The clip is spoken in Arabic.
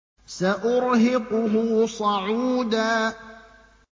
سَأُرْهِقُهُ صَعُودًا